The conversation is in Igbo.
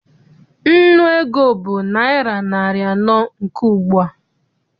Nnu ego bụ naịra narị anọ nke ugbua.